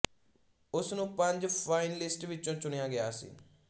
ਉਸ ਨੂੰ ਪੰਜ ਫਾਈਨਲਿਸਟ ਵਿਚੋਂ ਚੁਣਿਆ ਗਿਆ ਸੀ